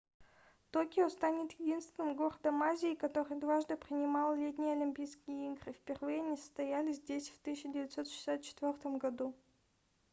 токио станет единственным городом азии который дважды принимал летние олимпийские игры впервые они состоялись здесь в 1964 году